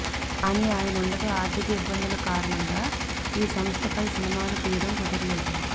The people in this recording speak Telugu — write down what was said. కానీ ఆయనుండగా ఆర్థిక ఇబ్బందుల కారణంగా ఈ సంస్థపై సినిమాలు తీయడం కుదర్లేదు